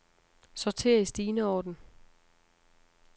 Sorter i stigende orden.